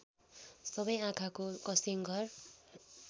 सबैको आँखाको कसिङ्गर